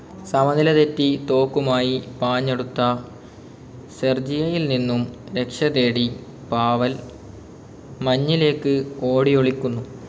സമനില തെറ്റി തോക്കുമായി പാഞ്ഞടുത്ത സെർജിയയിൽ നിന്നും രക്ഷതേടി പാവൽ മഞ്ഞിലേക്ക് ഓടിയൊളിക്കുന്നു.